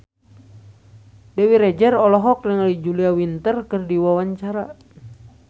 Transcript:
Dewi Rezer olohok ningali Julia Winter keur diwawancara